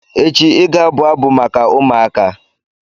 Echi, ị ga-abụ abụ maka ụmụaka!